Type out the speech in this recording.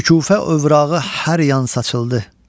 Şükufe övrağı hər yan saçıldı.